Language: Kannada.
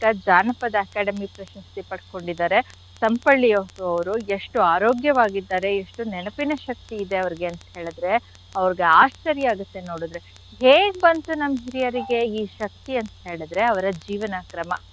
ಜಾನಪದ academy ಪ್ರಶಸ್ತಿ ಪಡ್ಕೊಂಡಿದಾರೆ. Sampalli ಅವ್ರ್ ಅವ್ರು. ಎಷ್ಟು ಆರೋಗ್ಯವಾಗಿದಾರೆ ಎಷ್ಟು ನೆನಪಿನ ಶಕ್ತಿ ಇದೆ ಅವ್ರಿಗೆ ಅಂತ್ ಹೇಳಿದ್ರೆ ಅವ್ರ್ಗ್ ಆಶ್ಚರ್ಯ ಆಗತ್ತೆ. ನೋಡಿದ್ರೆ ಹೇಗ್ ಬಂತು ನಮ್ ಹಿರಿಯರಿಗೆ ಈ ಶಕ್ತಿ ಅಂತ್ ಹೇಳಿದ್ರೆ ಅವ್ರ ಜೀವನ ಕ್ರಮ.